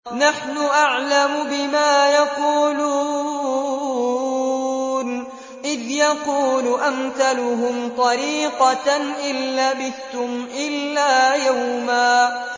نَّحْنُ أَعْلَمُ بِمَا يَقُولُونَ إِذْ يَقُولُ أَمْثَلُهُمْ طَرِيقَةً إِن لَّبِثْتُمْ إِلَّا يَوْمًا